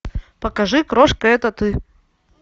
покажи крошка это ты